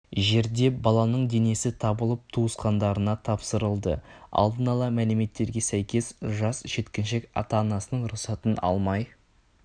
жерде баланың денесі табылып туысқандарына тапсырылды алдын ала мәліметтерге сәйкес жас жеткіншек ата-анасының рұқсатын алмай